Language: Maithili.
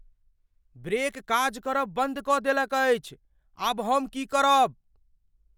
ब्रेक काज करब बन्द कऽ देलक अछि। आब हम की करब?